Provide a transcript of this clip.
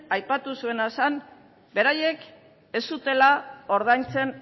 aipatu zuena zen beraiek ez zutela ordaintzen